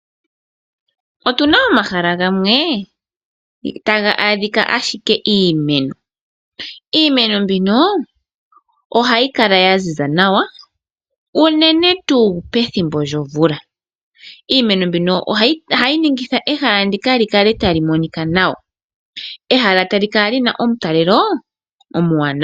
Otuna omahala gamwe taga adhika ashike iimeno. Iimeno mbino ohayi kala ya ziza nawa, uunene tuu pethimbo lyomvula. Iimeno mbino ohayi ningitha ehala ndika li kale tali monika nawa. Ehala tali kala lina omutalelo omuwanawa.